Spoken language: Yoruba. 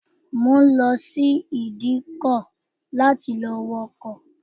Mo ń lọ sí ìdíkọ láti lọ wọ ọkọ̀